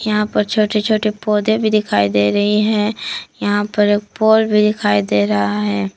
यहां पर छोटे छोटे पौधे भी दिखाई दे रही हैं यहां पर एक पोल भी दिखाई दे रहा है।